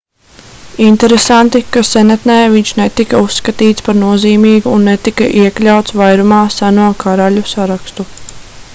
interesanti ka senatnē viņš netika uzskatīts par nozīmīgu un netika iekļauts vairumā seno karaļu sarakstu